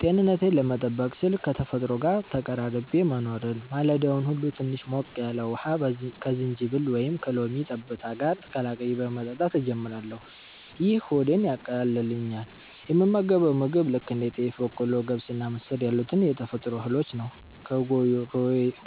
ጤንነቴን ለመጠበቅ ስል ከተፈጥሮ ጋር ተቀራርቤ መኖርን። ማለዳውን ሁሉ ትንሽ ሞቅ ያለ ውሃ ከዝንጅብል ወይም ከሎሚ ጠብታ ጋር ቀላቅዬ በመጠጣት ጀምራለሁ፤ ይህ ሆዴን ያቃልልኛል። የምመገበው ምግብ ልክ እንደ ጤፍ፣ በቆሎ፣ ገብስና ምስር ያሉትን የተፈጥሮ እህሎች ነው፤